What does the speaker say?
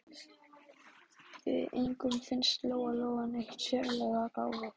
Engum fannst Lóa-Lóa neitt sérlega gáfuð.